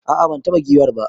A'a ban taba giwar ba.